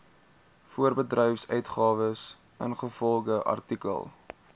voorbedryfsuitgawes ingevolge artikel